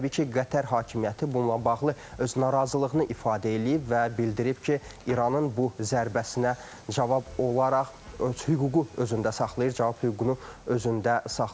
Təbii ki, Qətər hakimiyyəti bununla bağlı öz narazılığını ifadə eləyib və bildirib ki, İranın bu zərbəsinə cavab olaraq öz hüququ özündə saxlayır, cavab hüququnu özündə saxlayır.